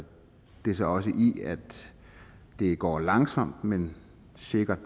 det sig også i at det går langsomt men sikkert